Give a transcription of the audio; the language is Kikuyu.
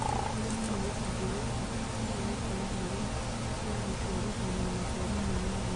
ũrĩmi ni gĩcunjĩ gĩa bata kĩrĩa gĩkoragwo gĩ gĩa gũciarithania maciaro ma irio.